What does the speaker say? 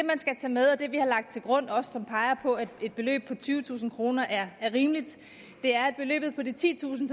skal tage med og det vi har lagt til grund og som også peger på at et beløb på tyvetusind kroner er rimeligt er at beløbet på de titusind